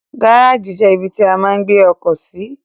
Gáràjì jẹ́ ibi tí a máa ń gbé ọkọ̀ sí.